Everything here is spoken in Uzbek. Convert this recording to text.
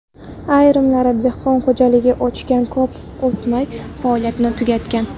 Ayrimlari dehqon xo‘jaligi ochgan, ko‘p o‘tmay faoliyatini tugatgan.